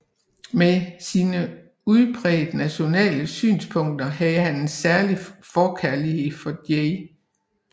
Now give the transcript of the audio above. Med sine udpræget nationale synspunkter havde han en særlig forkærlighed for J